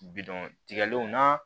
Bidɔn tigɛlenw na